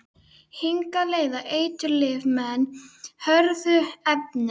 Hingað leiða eiturlyfin menn, hörðu efnin.